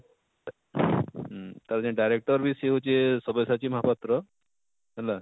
ହୁଁ ତାର ଜେନ directer ବି ସେ ହଉଛେ ସବ୍ୟସାଚୀ ମହାପାତ୍ର ହେଲା